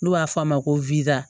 N'u b'a f'a ma ko